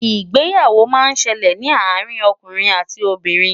ìgbéyàwó má ń ṣẹlẹ ní àrin okùnrin àti Obìnrin